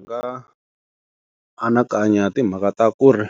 Ndzi nga anakanya hi timhaka ta ku ri